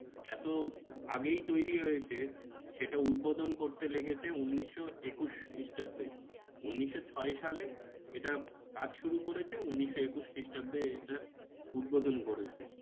এত আগেই তৈরী হয়েছে সেটা উদ্বোধন করতে লেগেছে উনিশশো একুশ খ্রিস্টাব্দে উনিশশো ছয় সালে এটা কাজ শুরু করেছে উনিশশো একুশ খ্রিস্টাব্দে এটার উদ্বোধন করেছে।